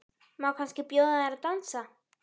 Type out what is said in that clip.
Má kannski bjóða þér að dansa?